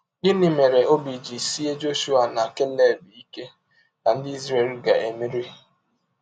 Gịnị mere ọbi ji sịe Jọshụa na Keleb ike na ndị Izrel ga - emeri?